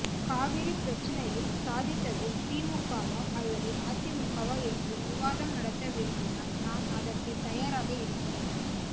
காவிரி பிரச்சினையில் சாதித்தது திமுகவா அல்லது அதிமுகவா என்று விவாதம் நடத்த விரும்பினால் நான் அதற்கு தயாராக இருக்கிறேன்